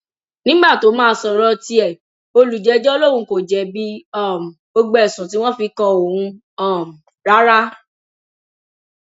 nígbà tó máa sọrọ tiẹ olùjẹjọ lòun kò jẹbi um gbogbo ẹsùn tí wọn fi kan òun um rárá